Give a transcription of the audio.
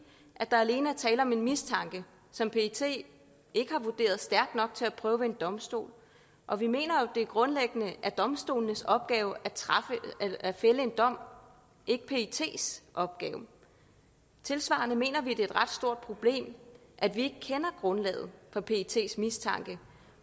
der alene er tale om en mistanke som pet ikke har vurderet stærk nok til at prøve ved en domstol og vi mener jo det grundlæggende er domstolenes opgave at fælde en dom ikke pets opgave tilsvarende mener vi er et ret stort problem at vi ikke kender grundlaget for pets mistanke